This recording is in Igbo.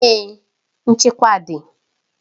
Èè, nchekwa dị.